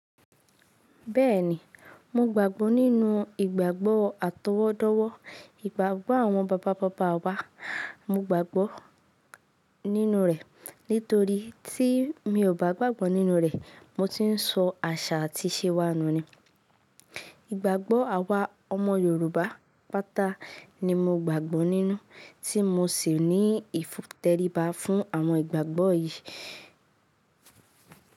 Bẹ́ẹ̀ni, mo gbàgbọ́ nínú ìgbàgbọ́ àtọwọ́dọ́wọ́, ìgbàgbọ́ àwọn bàbá bàbá wa. Mo gbàgbọ́ nínú rẹ̀ nítorí tí mi ò bá gbàgbọ́ nínú rẹ̀, mo ti ń sọ àṣà àti ìṣe wa nù ni. Ìgbàgbọ́ àwa ọmọ Yorùbá pátá ni mo gbàgbọ́ nínú tí mo sì ní ìtẹríba fún àwọn ìgbàgbọ́ yìí.